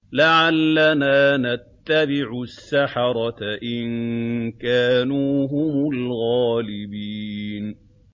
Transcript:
لَعَلَّنَا نَتَّبِعُ السَّحَرَةَ إِن كَانُوا هُمُ الْغَالِبِينَ